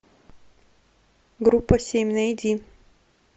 группа семь найди